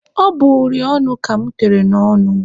Ọ bụ uri ọnụ ka mụ tere n'ọnụ mụ.